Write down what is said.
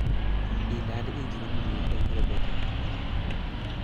ilal injinit nyu eng robotit